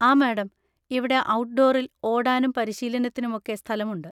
ആ മാഡം, ഇവിടെ ഔട്ഡോറിൽ ഓടാനും പരിശീലനത്തിനും ഒക്കെ സ്ഥലമുണ്ട്.